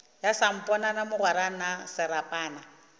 ya samponana mogwera na serapana